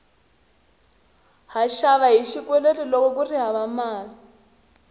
ha xava hi xikweleti loko kuri hava mali